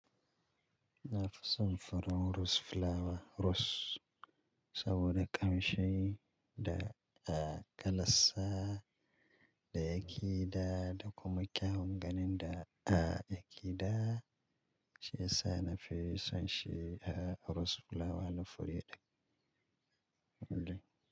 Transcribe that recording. Na fi son farar rose flower rose saboda ƙamshi da a kalarsa, da yakeda da kuma kyawun ganin da yakeda. Shi ya sa na fi son shi rose flower na fure ɗaya.